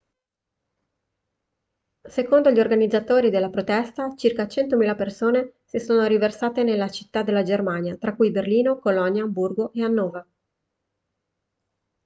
secondo gli organizzatori della protesta circa 100.000 persone si sono riversate nelle città della germania tra cui berlino colonia amburgo e hannover